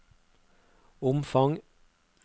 omfang